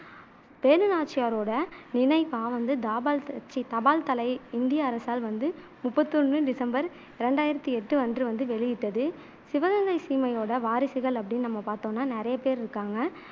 வேலு நாச்சியாரோட நினைவா வந்து தாபால் தசீ தபால் தலை இந்திய அரசால் வந்து முப்பத்து ஒண்ணு டிசம்பர் ரெண்டாயிரத்தி எட்டு அன்று வந்து வெளியிட்டது சிவகங்கை சீமையோட வாரிசுகள் அப்படின்னு நம்ம பாத்தோம்னா நிறைய பேரு இருக்காங்க